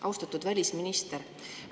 Austatud välisminister!